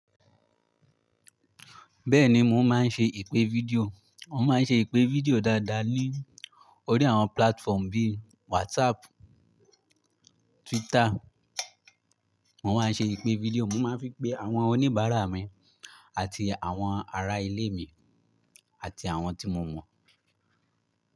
Bẹ́ẹ̀ni mo máa ń ṣe ìpè fídíò, mo máa ń ṣe ìpè fídíò dáadáa ní orí àwọn platform bí WhatsApp, Twitter, mo máa ń ṣe ìpè fídíò, mo máa ń fi pé àwọn oníbàárà mi àti àwọn ará ilé mi àti àwọn tí mo mọ̀.